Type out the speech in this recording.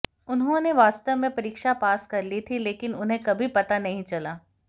उन्होंने वास्तव में परीक्षा पास कर ली थी लेकिन उन्हें कभी पता नहीं चला